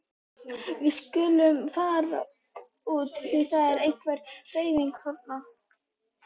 Við skulum fara út því það er einhver hreyfing þarna.